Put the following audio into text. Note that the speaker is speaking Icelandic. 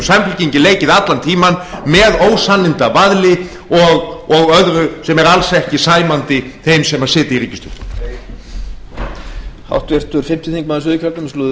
hefur samfylkingin leikið allan tímann með ósannindavaðli og öðru sem er alls ekki sæmandi þeim sem sitja í ríkisstjórn heyr